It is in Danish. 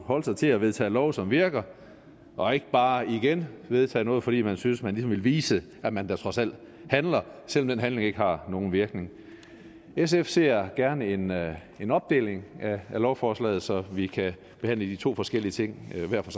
holde sig til at vedtage love som virker og ikke bare igen vedtage noget fordi man synes man ligesom vil vise at man da trods alt handler selv om den handling ikke har nogen virkning sf ser gerne en en opdeling af lovforslaget så vi kan behandle de to forskellige ting hver for